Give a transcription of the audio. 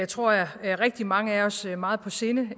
tror jeg rigtig mange af os meget på sinde